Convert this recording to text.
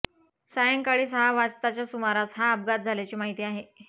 सायंकाळी सहा वाजताच्या सुमारास हा अपघात झाल्याची माहिती आहे